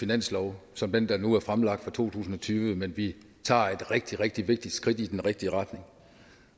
finanslov som den der nu er fremlagt for to tusind og tyve men vi tager et rigtig rigtig vigtigt skridt i den rigtige retning